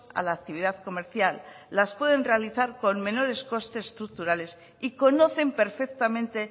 a la actividad comercial las pueden realizar con menores costes estructurales y conocen perfectamente